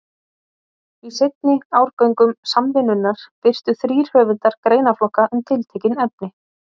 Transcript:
Í seinni árgöngum Samvinnunnar birtu þrír höfundar greinaflokka um tiltekin efni.